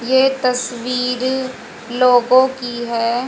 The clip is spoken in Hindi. ये तस्वीर लोगों की है।